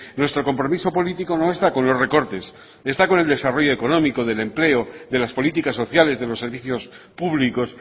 nuestro compromiso político no está con los recortes está con el desarrollo económico del empleo de las políticas sociales de los servicios públicos